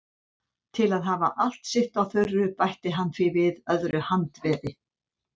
Til að hafa allt sitt á þurru bætti hann því við öðru handveði.